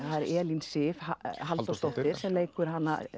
eru Elín Sif Halldórsdóttir sem leikur